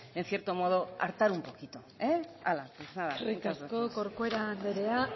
en cierto modo hartar un poquito hala pues nada muchas gracias eskerrik asko corcuera anderea